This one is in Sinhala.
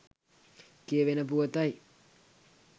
කියැවෙන පුවතයි.